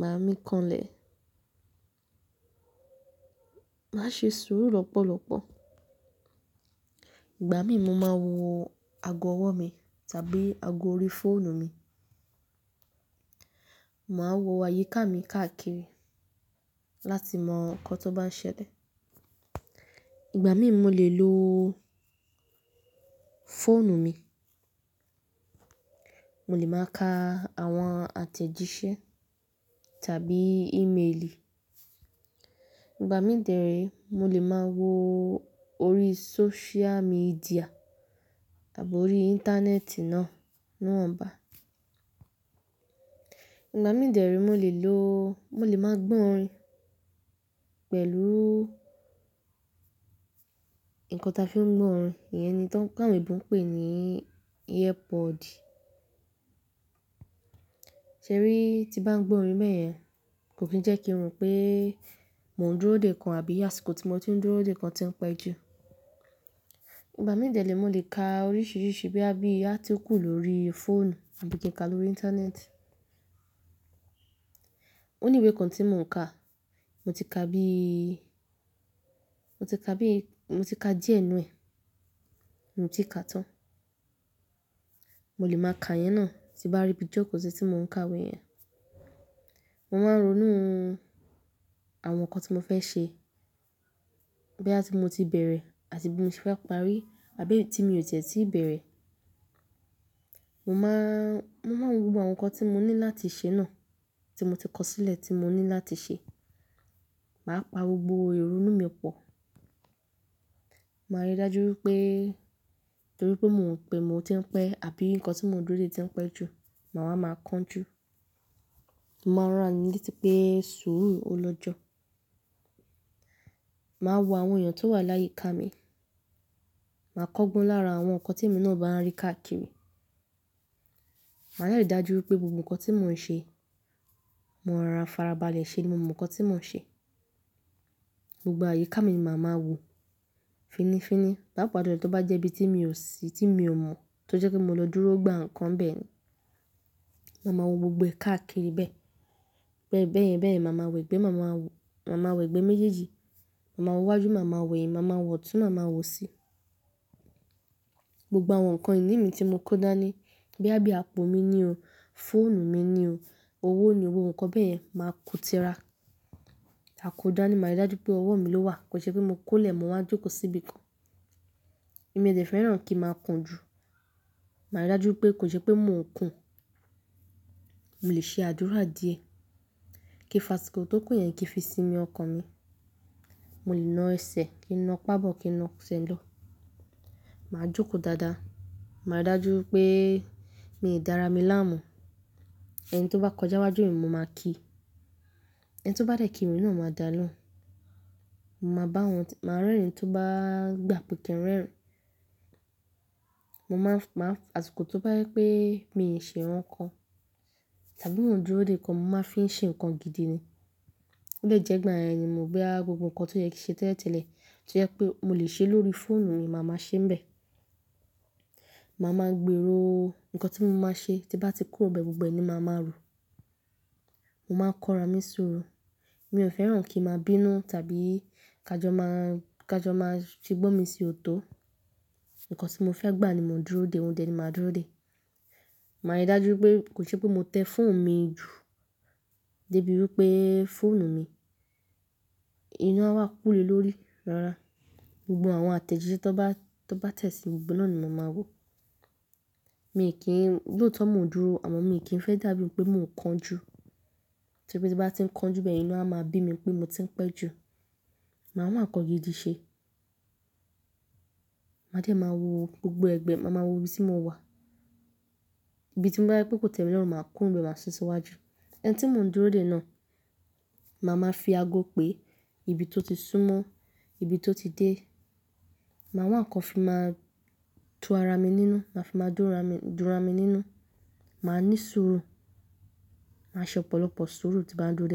Máà mí kanlẹ̀. Màá ṣe sùúrù lọ́pọ̀lọpọ̀. Ìgbà mí, mo máa wo ago ọwọ́ mi tàbí ago orí fóònù mi. Màá wo àyíká mi káàkiri láti mọ nǹkan tó bá ń ṣẹlẹ̀. Ìgbà mí, mo lè lo fóònù mi. Mo lè máa ka àwọn àtẹ̀jíṣẹ́ tàbí ímeelì. Ìgbà mí dẹ̀ ẹ́ rí, mo lè máa wo orí sóṣíà míḍíà tàbí orí íńtánẹ́ẹ̀tì náà, náà bá. Ìgbà mí dẹ̀ ẹ́ rí, mo lè lo, mo lè máa gbọ́ orin pẹ̀lú nǹkan tí a fi ń gbọ́ orin, iyẹn ni tawọ́n ěbo ń pè ní ear pod. Ṣẹ rí, tí bá ń gbọ́ orin bẹ́ẹ́ẹ̀yen, kò kí ń jẹ́ kí ro pé mo ń dúró de nǹkan àbí àsìkò tí mo ti ń dúró de nǹkan ti ń pẹ́ ju. Ìgbà mí dẹ̀ ẹ́ rí, mo lè ka oríṣiríṣi boya bí i átíkù lórí fóònù àbí kí ń ka lórí íńtánẹ́ẹ̀tì. Oníwẹ́ kan tí mò ń ka, mo ti ka bí, mo ti ka bí, mo ti ka díẹ̀ nínú ẹ̀, mio tii kà á tán. Mo lè máa ka iyẹn náà tí bá rí bí joko sí tí mò ń ka wé yẹn. Mo máa ń ronú àwọn nǹkan tí mo fẹ́ ṣe, bóyá tí mo ti bẹ̀rẹ̀ àti bí mo ti fẹ́ parí àbí èyí tí mi ò tẹ̀ tíì bẹ̀rẹ̀. Mo máa, mo máa ń wo àwọn nǹkan tí mo ní láti ṣe náà tí mo ti kọ sílẹ̀ tí mo ní láti ṣe. Màá pa gbogbo ìrúnú mi pọ̀. Màá rí dájú wípé, torí pé mò ń pè mo ti ń pẹ́ àbí nǹkan tí mò ń dúró de ti ń pẹ́ ju, màá máa máa kánjú. Màá ràn ara mí léti pé sùúrù ó lọ́jọ́. Màá wo àwọn èèyàn tó wà láyíká mi. Màá kọ́gbọn lára àwọn nǹkan tí mo náà bá rí káàkiri. Màá ri'ari dájú wípé gbogbo nǹkan tí mò ń ṣe, mò ń rora farabalẹ̀ ṣe gbogbo nǹkan tí mò ń ṣe. Gbogbo àyíká mi màá máa wo fínifíní. Pàdé@ápàá jùlọ, tó bá jẹ́ ibi tí mi ò sí, tí mi ò mọ̀, tó jẹ́ kí mo lọ dúró gba nǹkan bẹ́ẹ̀ ni. Màá ma wo gbogbo ẹ káàkiri bẹ́ẹ̀. Bẹ́ẹ̀ bẹ́ẹ̀yẹn bẹ́ẹ̀, màá máa wẹ̀ gbẹ, màá máa wo, màá máa wẹ̀ gbẹ méjèèjì. Màá ma wo wájú, màá máa wẹ̀hin, màá máa wọ̀ tún, màá máa wò síi. Gbogbo àwọn nǹkan ìní mi tí mo kó dání, bóyá bí i àpò mi ni o, fóònù mi ni o, owó ni o, gbogbo nǹkan bẹ́ẹ̀yẹn màá kó tira. Ma kò dáa ní màá rí dájú pé ọwọ́ mi ló wà, kò nsẹ́ pé mo kó lè, mo máa jókòó síbi kan. Èmi ò tẹ̀ fẹ́ràn kí màá kun jú. Màá rí dájú pé kò jẹ́ pé mò ń kùn. Mo lè ṣe àdúrà díẹ̀ kí fa tí kò tó kún iyẹn kí fi sinmi ọkàn mi. Mo lè na ẹsẹ̀, kí na pà'bọ́, kí na' sẹ́ lọ̀. Màá jókòó dáadáa. Màá rí dájú pé mi ò dára mi láàmú. Ẹni tó bá kọjá wájú mi, mo máa kíi. Ẹni tó bá dẹ̀ kí mi náà, mo máa dáa lóhùn. Mo máa bá wọn, màá rẹ́rìn-ín tó bá gbà pẹ̀kẹ́ rẹ́rìn-ín. Mo máa ń, màá ń, asikọ̀ tó bá jẹ pé mi ò ṣe nǹkan tàbí mò ń dúró de nǹkan, mo máa fi ń ṣe nǹkan gidi ni. Ó lè jẹ́ gbàyẹn ni, mo gbé àwọn gbogbo nǹkan tó yẹ kí ṣe tẹ́lẹ̀tẹ́lẹ̀, tó jẹ́ pé mo lè ṣe lórí fóònù mi, màá máa ṣe níbẹ̀. Màá máa gbèrò nǹkan tí mo máa ṣe, tí bá ti kúrò bẹ́ẹ̀ gbogbo ni màá máa rò. Mo máa ń kọ́ra mi sọ́rọ̀. Mi ò fẹ́ràn kí màá bínú tàbí ká jọ máa, ká jọ máa ṣe gbọ́n mi sí ọ̀tọ̀. Nǹkan tí mo fẹ́ gbà ni mò ń dúró de, òun tẹ́ẹ̀ ni màá dúró de. Màá rí dájú wípé kò jẹ́ pé mo tẹ́ fóònù mi jù dé bíi wípé fóònù mi, ina a wá kúle lórí rárá. Gbogbo àwọn àtẹ̀jíṣẹ́ tó bá, tó bá tẹ̀ síi gbogbo náà ni mo máa wo. Mi ò kí ń, lóòótọ́ mò ń dúró, àmọ́ mi ò kí ń fẹ́ dàbí pé mò ń kánjú. Torí pé tí bá ti ń kánjú bẹ́ẹ̀, inú a máa bí mi pé mo ti ń pẹ́ ju. Màá wa nkan gidi ṣe. Màá dẹ́ màá wo gbogbo ẹgbẹ́, màá máa wo ibi tí mo wà. Ibi tí mo bá rí pé kò tẹ́mi lọ́rùn, màá kúrò bẹ́ẹ̀, màá sùn síwájú. Ẹni tí mò ń dúró de náà, màá máa fi ago pé ibi tó ti súnmọ́, ibi tó ti dé. Màá wá nǹkan fi máa tú ara mi nínú, màá fi máa dúra mi, dúra mi nínú. Màá ní sùúrù. Màá ṣe ọ̀pọ̀lọpọ̀ sùúrù tí màá ń dúró de.